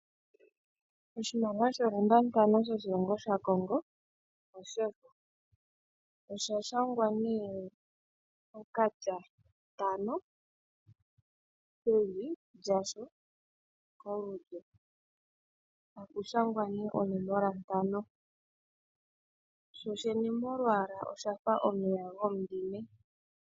Oshimaliwa sho 5F shoshilongo shaCongo osha shangwa nee okatya ntano pevi lyasho kolulyo, taku shangwa nee onomola ntano. Shoshene molwaala osha fa omeya gomudhime.